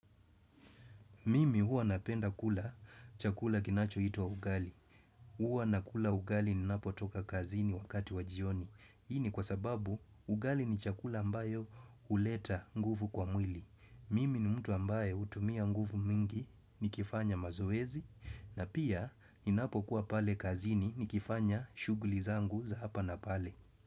Mimi huwa napenda kula chakula kinachoitwa ugali Huwa nakula ugali ninapotoka kazini wakati wa jioni Hii ni kwa sababu ugali ni chakula ambayo huleta nguvu kwa mwili Mimi ni mtu ambae hutumia nguvu mingi nikifanya mazoezi na pia ninapokuwa pale kazini nikifanya shuguli zangu za hapa na pale.